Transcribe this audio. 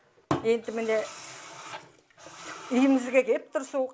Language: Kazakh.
енді міне үйімізге келіп тұр су